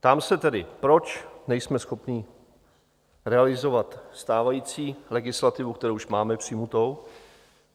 Ptám se tedy, proč nejsme schopni realizovat stávající legislativu, kterou už máme přijatou?